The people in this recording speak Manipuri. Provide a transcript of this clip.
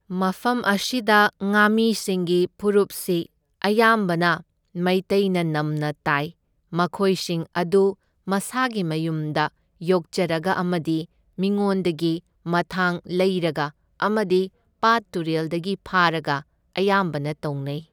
ꯃꯐꯝ ꯑꯁꯤꯗ ꯉꯥꯃꯤꯁꯤꯡꯒꯤ ꯐꯨꯔꯨꯞꯁꯤ ꯑꯌꯥꯝꯕꯅ ꯃꯩꯇꯩꯅ ꯅꯝꯅ ꯇꯥꯏ, ꯃꯈꯣꯏꯁꯤꯡ ꯑꯗꯨ ꯃꯁꯥꯒꯤ ꯃꯌꯨꯝꯗ ꯌꯣꯛꯆꯔꯒ ꯑꯃꯗꯤ ꯃꯤꯉꯣꯟꯗꯒꯤ ꯃꯊꯥꯡ ꯂꯩꯔꯒ ꯑꯃꯗꯤ ꯄꯥꯠ ꯇꯨꯔꯦꯜꯗꯒꯤ ꯐꯥꯔꯒ ꯑꯌꯥꯝꯕꯅ ꯇꯧꯅꯩ꯫